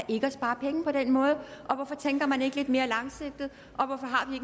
ikke at spare penge på den måde hvorfor tænker man ikke lidt mere langsigtet og hvorfor har vi